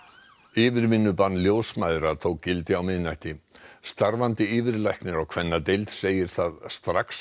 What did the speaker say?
yfirvinnubann ljósmæðra tók gildi á miðnætti starfandi yfirlæknir á kvennadeild segir það strax